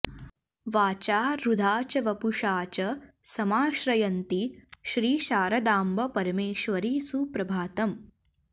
वाचा हृदा च वपुषा च समाश्रयन्ति श्री शारदाम्ब परमेश्वरि सुप्रभातम्